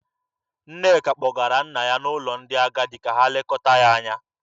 Nneka kpọgara nna ya n'ụlọ ndị agadi ka ha lekọta ya anya.